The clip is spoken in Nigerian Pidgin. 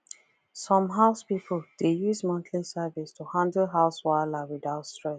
some house people dey use monthly service to handle house wahala without stress